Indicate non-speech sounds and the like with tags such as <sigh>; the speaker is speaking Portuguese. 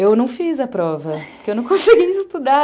Eu não fiz a prova, porque eu <laughs> não conseguia estudar.